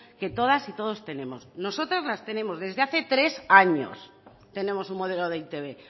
que todas y todos tenemos nosotras las tenemos desde hace tres años tenemos un modelo de e i te be